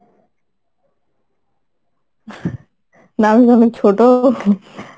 না আমি অনেক ছোট।